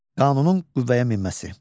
Qanunun qüvvəyə minməsi.